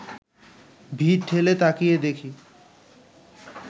ভিড় ঠেলে তাকিয়ে দেখি